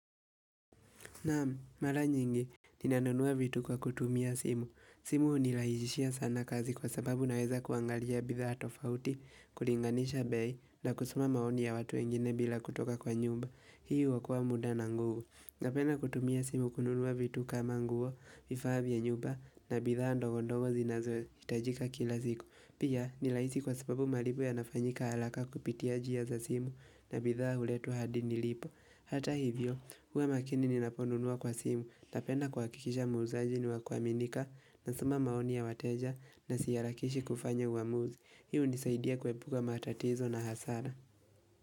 Naam, mara nyingi, ninanunua vitu kwa kutumia simu. Simu nilaijishia sana kazi kwa sababu naweza kuangalia bidhaa tofauti, kulinganisha bei, na kusoma maoni ya watu wengine bila kutoka kwa nyumba. Hii uokoa muda na nguvu. Napenda kutumia simu kununua vitu kama nguo, vifaa vya nyumba, na bidhaa ndogondogo zinazo itajika kila siku. Pia nilaisi kwa sababu malipo ya nafanyika alaka kupitia jia za simu, na bidhaa huletwa hadini lipo. Hata hivyo, huwa makini ninaponunua kwa simu na penda kuakikisha muuzaji ni wakua minika na soma maoni ya wateja na siarakishi kufanya uamuzi. Hii unisaidia kuepuka matatizo na hasara.